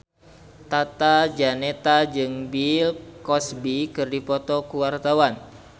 Tata Janeta jeung Bill Cosby keur dipoto ku wartawan